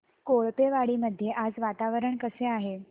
कोळपेवाडी मध्ये आज वातावरण कसे आहे